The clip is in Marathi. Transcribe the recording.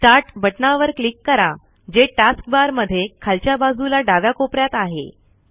स्टार्ट बटनावर क्लिक करा जे टास्क बार मध्ये खालच्या बाजूला डाव्या कोपऱ्यात आहे